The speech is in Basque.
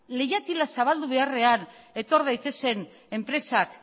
leihatila zabaldu beharrean etor daitezen enpresak